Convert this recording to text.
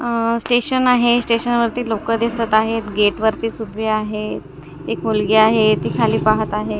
अ station आहे स्टेशनवरती लोकं दिसत आहेत गेट वरती सुप्री आहे एक मुलगी आहे ती खाली पाहत आहे.